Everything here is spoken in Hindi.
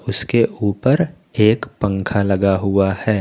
उसके ऊपर एक पंख लगा हुआ है।